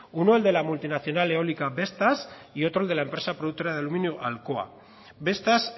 uno el de la multinacional eólica vestas y otro el de la empresa productora de aluminio alcoa vestas